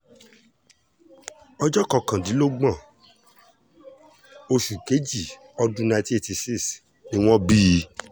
ọjọ́ kọkàndínlógún oṣù keje ọdún nineteen eighty six ni wọ́n bí i